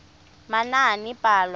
manaanepalo